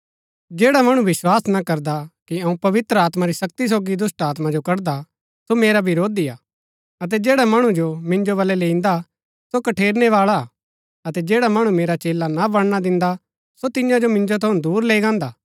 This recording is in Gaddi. जैडा मणु विस्वास ना करदा कि अऊँ पवित्र आत्मा री शक्ति सोगी दुष्‍टात्मा जो कड़दा हा सो मेरा विरोधी हा अतै जैड़ा मणु जो मिन्जो वलै लैईन्दा सो कठेरनै बाळा हा अतै जैड़ा मणु मेरा चेला ना बणना दिन्दा सो तियां जो मिन्जो थऊँ दूर लैई गान्दा